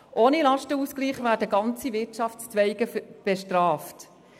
Ohne Lastenausgleich werden ganze Wirtschaftszweige bestraft.